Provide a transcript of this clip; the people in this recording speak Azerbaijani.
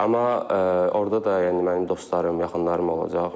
Amma orda da yəni mənim dostlarım, yaxınlarım olacaq.